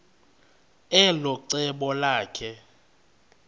elo cebo lakhe